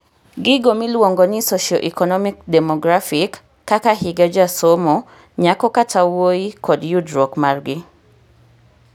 gigo miluongo ni socio-economic demographic kaka higa jasomo , nyako kata wuoyikod yudruok margi